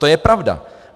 To je pravda.